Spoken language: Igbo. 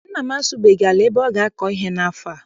Nna m asụbeghị ala ebe ọ ga- akọ ihe n'afọ a.